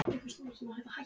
Maia, viltu hoppa með mér?